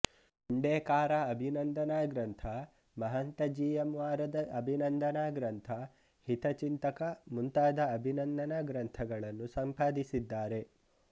ಹುಂಡೇಕಾರ ಅಭಿನಂದನ ಗ್ರಂಥ Mahanta G M ವಾರದ ಅಭಿನಂದನ ಗ್ರಂಥ ಹಿತಚಿಂತಕ ಮುಂತಾದ ಅಭಿನಂದನ ಗ್ರಂಥಗಳನ್ನು ಸಂಪಾದಿಸಿದ್ದಾರೆ